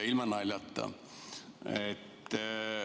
Ilma naljata.